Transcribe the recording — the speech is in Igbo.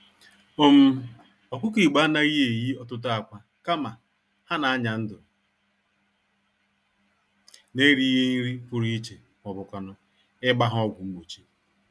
um Ọkụkọ Igbo anaghị eyi ọtụtụ ákwà, kama, ha n'anya-ndụ n'erighì nri pụrụ iche mọbụkwanụ̀ ịgba ha ọgwụ mgbochi